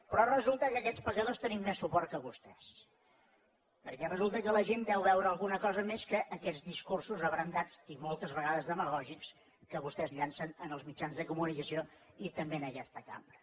però resulta que aquests pecadors tenim més suport que vostès perquè resulta que la gent deu veure alguna cosa més que aquests discursos abrandats i moltes vegades demagògics que vostès llancen en els mitjans de comunicació i també en aquesta cambra